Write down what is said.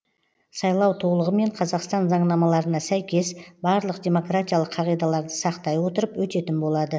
сайлау толығымен қазақстан заңнамаларына сәйкес барлық демократиялық қағидаларды сақтай отырып өтетін болады